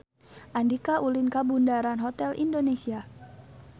Andika ulin ka Bundaran Hotel Indonesia